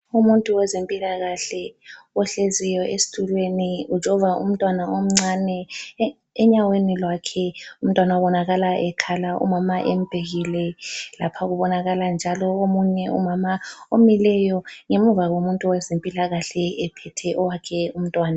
Umuntu wezempilakahle ohleziyo esitulweni ujova umntwana omncane enyaweni lwakhe, umntwana ubonakala ekhala umama embhekile ,lapha kubonakala njalo omunye umama omileyo ngemuva komuntu wezempilakahle ephethe owakhe umntwana.